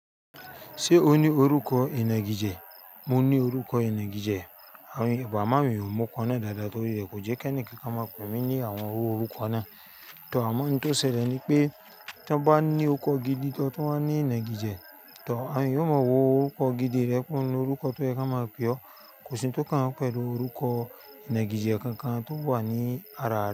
Ṣé o ní orúkọ ìnagijẹ? Mo ní orúkọ ìnági jẹ, bó à mo áwon èèyàn ó mo orúko náà dáadáa torí ń kò jẹ́ kí ẹnìkan kan máa pè mí ní àwọn irú orúkọ náà. Tọ̀ àmọ òun tó ṣẹlẹ̀ ni pé tó bá ní orúko gidi tó tún wá ń ní ìnagijẹ, tọ àwọn èyàn ó mọ wó orúkọ gidi rẹ kúrò nínú orúkọ tó yẹ kó máa pè ọ́. Kò sí un tó kàn wón pẹ̀lú orúkọ ìnagijẹ kankan tó wà ní ara.